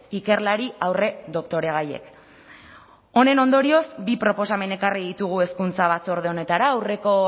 ikerlari aurredoktoregaiek honen ondorioz bi proposamen ekarri ditugu hezkuntza batzorde honetara aurreko